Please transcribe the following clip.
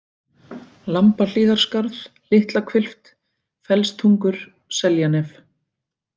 Lambahlíðarskarð, Litlahvilft, Fellstungur, Seljanef